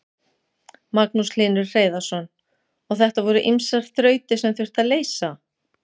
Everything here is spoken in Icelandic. Magnús Hlynur Hreiðarsson: Og þetta voru ýmsar þrautir sem þurfti að leysa?